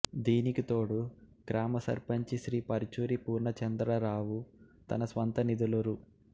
దీనికి తోడు గ్రామ సర్పంచి శ్రీ పరుచూరి పూర్ణచంద్రరావు తన స్వంత నిధులు రు